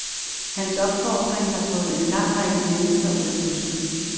Hans opfordring har fået en lang række mennesker ud af busken.